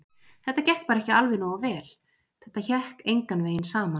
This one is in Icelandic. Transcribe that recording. Þetta gekk bara ekki alveg nógu vel, þetta hékk engan veginn saman.